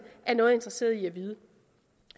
er noget interesseret i at vide